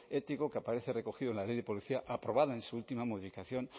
ético que aparece recogido en la ley de policía aprobada en su última modificación